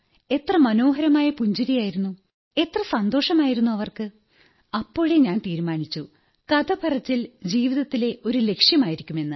എത്ര മനോഹരമായ പുഞ്ചിരിയായിരുന്നു എത്ര സന്തോഷമായിരുന്നു അവർക്ക് അപ്പോഴേ ഞാൻ തീരുമാനിച്ചു കഥപറച്ചിൽ ജീവിതത്തിലെ ഒരു ലക്ഷ്യമായിരിക്കുമെന്ന്